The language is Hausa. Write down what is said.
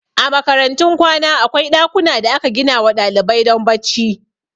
A makarantun kwana akwai ɗakuna da aka ginawa ɗalibai don bacci